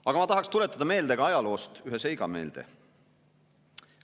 Aga ma tahaksin meelde tuletada ka ühte seika ajaloost.